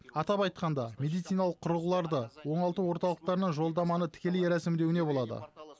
атап айтқанда медициналық құрылғыларды оңалту орталықтарына жолдаманы тікелей рәсімдеуіне болады